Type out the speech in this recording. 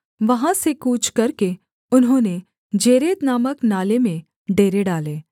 वहाँ से कूच करके उन्होंने जेरेद नामक नाले में डेरे डालें